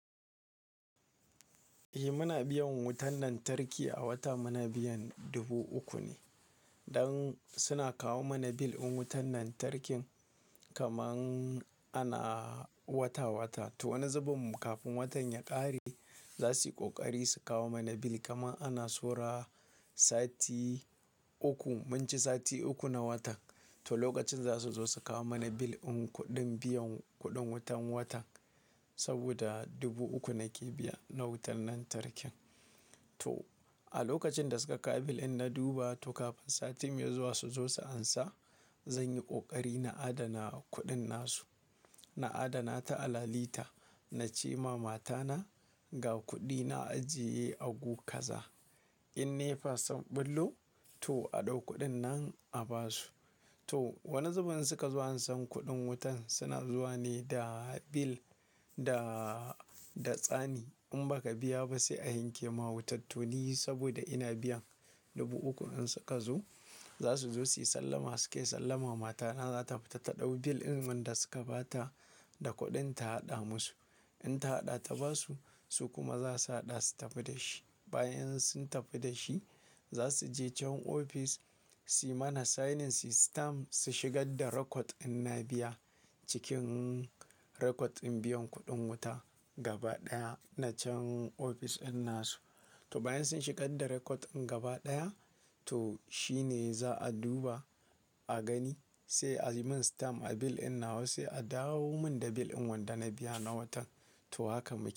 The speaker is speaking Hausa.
Eh muna biyan wutan lantarki a wata muna biyan dubu uku ne. Don suna kawo mana bil in wutan lantarkin kaman ana wata-wata. To wani zubin kafin watan ya ƙare za su yi ƙoƙari su kawo mana bill kaman ana so ra sati uku mun ci sati uku na wata. To lokacin za su zo su kawo mana bill din kuɗin biyan kuɗin wutan wata saboda dubu uku nake biya na wutan lantarkin. To a lokacin da suka kawo bil in na duba to kafin sati mai zuwa su zo su ansa, zan yi ƙoƙari na adana kuɗin nasu. Na adana ta a lalita, na ce ma matana ga kuɗi na ajiye a gukaza. In nefa sun bullo to a ɗau kuɗin nan a basu. To wani zubin suka zo an san kuɗin wutan suna zuwa ne da bil da, da tsani. In baka biya ba sai a yanke ma wuta, to ni saboda ina biyan dubu uku in suka zo, za su zo su yi sallama suke sallama matana za ta fita ta ɗau bil din wan da suka ba ta da kuɗin ta haɗa musu. In ta haɗa ta basu su kuma za su haɗa su tafi da shi. Bayan sun tafi da shi za su je can ofis su yi mana signing, su yi stam, su shigar da rekod in na biya cikin rekod in biyan kuɗin wuta gaba ɗaya na can ofis in nasu. To bayan sun shigar da rekod in gaba ɗaya to shi ne za a duba, a gani sai a yi min stam a bil in na sai a dawo min da bil in wanda na biya na watan to haka muke.